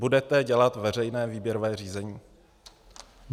Budete dělat veřejné výběrové řízení?